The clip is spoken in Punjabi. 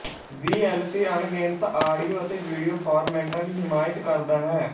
ਵੀਐੱਲਸੀ ਅਣਗਿਣਤ ਆਡੀਓ ਅਤੇ ਵੀਡੀਓ ਫ਼ਾਰਮੈਟਾਂ ਦੀ ਹਿਮਾਇਤ ਕਰਦਾ ਹੈ